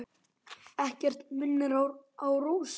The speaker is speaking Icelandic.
Ekkert sem minnir á Rósu.